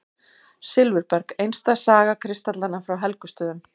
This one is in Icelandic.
Silfurberg: einstæð saga kristallanna frá Helgustöðum.